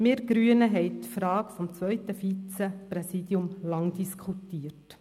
Wir Grünen haben die Frage des zweiten Vizepräsidiums lange diskutiert.